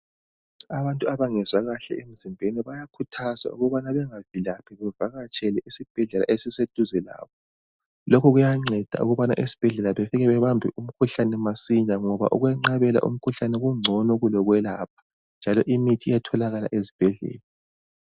Abantu abangezwa kuhle emzimbeni bayakhuthazwa ukubana bangavilaphi, bavakatshele isibhedlela eziseduze labo. Lokhu kuyanceda ukubana esibhedlela bafike babambe umkhuhlane masinya, ngoba ukwenqabela umkhuhlane, kungcono kulokwelapha, njalo imithi iyatholakala esibhedlela.